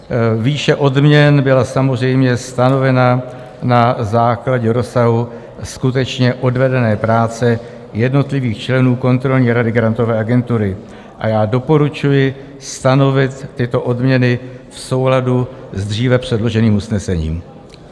Výše odměn byla samozřejmě stanovena na základě rozsahu skutečně odvedené práce jednotlivých členů kontrolní rady Grantové agentury a já doporučuji stanovit tyto odměny v souladu s dříve předloženým usnesením.